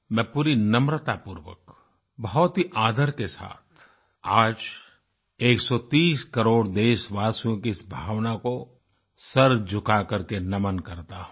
मैं पूरी नम्रतापूर्वक बहुत ही आदर के साथ आज 130 करोड़ देशवासियों की इस भावना को सर झुका करके नमन करता हूँ